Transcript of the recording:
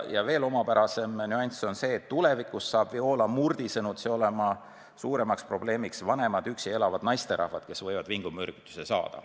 Ja veel omapärasem nüanss on see, et tuleviks saab Viola Murdi sõnutsi olema suurem probleem vanemad üksi elavad naisterahvad, kes võivad vingumürgituse saada.